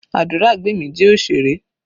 Aduragbemi jẹ́ òṣèré.